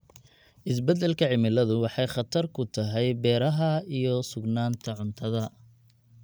Isbeddelka cimiladu waxay khatar ku tahay beeraha iyo sugnaanta cuntada.